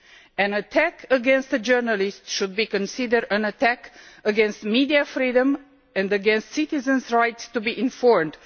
An attack against a journalist should be considered an attack against media freedom and against citizens' rights to be informed.